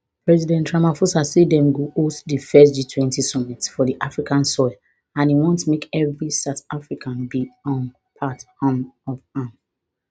president ramaphosa say dem go host di first gtwenty summit for di african soil and e want make evri south african be um part um of am